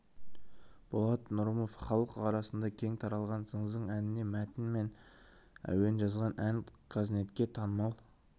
болат нұрымов халық арасына кең таралған зың зың әніне мәтін мен әуен жазған ән қазнетке танымал